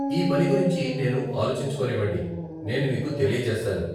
ఈ పని గురించి నేను ఆలోచించుకోనివ్వండి, నేను మీకు తెలియచేస్తాను.